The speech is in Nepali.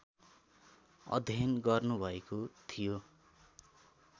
अध्ययन गर्नुभएको थियो